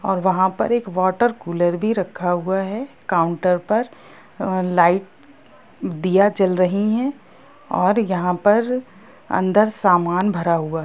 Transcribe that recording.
और वहां पर एक वाटर कूलर भी रखा हुआ है काउन्टर पर अ लाइट दिया जल रही है और यहां पर अंदर सामान भरा हुआ --